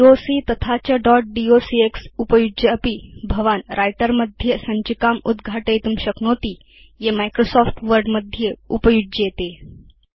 dot doc तथा च dot docx उपयुज्यापि भवान् व्रिटर मध्ये सञ्चिकाम् उद्घाटयितुं शक्नोति ये माइक्रोसॉफ्ट वर्ड मध्ये उपयुज्येते